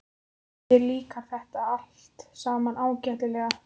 Þér líkar þetta allt saman ágætlega.